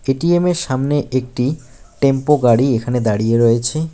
এটিএমের সামনে একটি টেম্পো গাড়ি এখানে দাঁড়িয়ে রয়েছে।